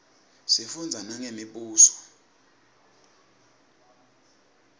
sifundza nangemibuso